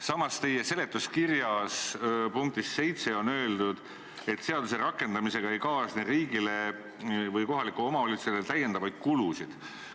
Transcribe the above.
Samas, teie seletuskirja punktis 7 on öeldud, et seaduse rakendamisega ei kaasne riigile või kohalikule omavalitsusele täiendavaid kulusid.